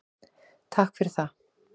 Takk fyrir það.